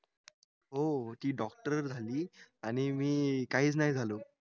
हो ती doctor झाली आणि मी काहीच नाही झालो